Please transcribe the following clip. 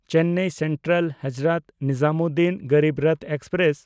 Chennai ᱥᱮᱱᱴᱨᱟᱞ–ᱦᱚᱡᱨᱚᱛ Nizamuddin Garib Rath express